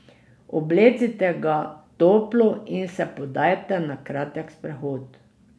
Oblecite ga toplo in se podajte na kratek sprehod.